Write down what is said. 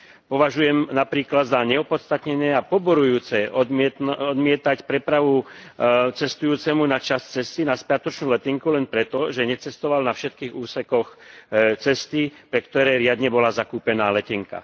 Považujem napríklad za neopodstatnené a poburujúce odmietať prepravu cestujúcemu na časť cesty na spiatočnú letenku len preto, že necestoval na všetkých úsekoch cesty, pre ktoré riadne bola zakúpená letenka.